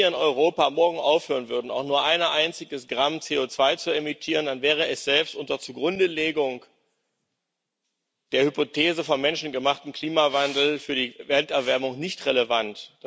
Denn wenn wir in Europa morgen aufhören würden, auch nur ein einziges Gramm CO2 zu emittieren, dann wäre es selbst unter Zugrundelegung der Hypothese vom menschengemachten Klimawandel für die Erderwärmung nicht relevant.